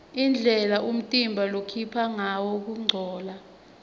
indlela umtimba lokhipha ngayo kungcola